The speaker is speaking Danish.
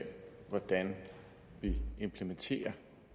i